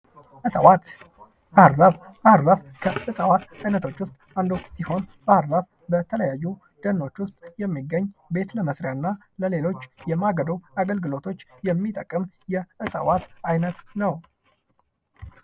እጽዋት ባህር ዛፍ ባህር ዛፍ እጽዋት አይነቶች ውስጥ አንዱ ሲሆን በተለያዩ ደንዎች ውስጥ የሚገኝ ቤት ለመስሪያ እና ለሌሎች የማገዶ አገልግሎት የሚጠቅም የእጽዋት አይነት ነው።